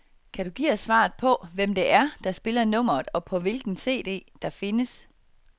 Kan du give os svaret på, hvem det er, der spiller nummeret og på hvilken cd, det findes.